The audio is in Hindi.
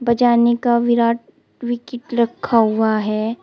का विकेट रखा हुआ है।